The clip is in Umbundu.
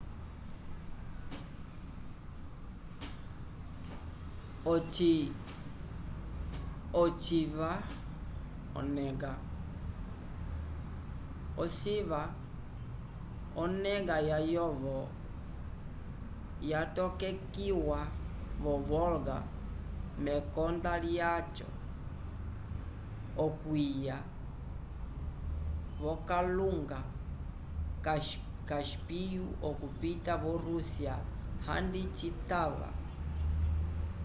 ociva onega layovo yatokekiwa vo-volga mekonda lyaco okwiya v'okalunga cáspio okupita vo-rússia handi citava